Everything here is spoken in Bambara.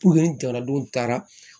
ni jamanadenw taara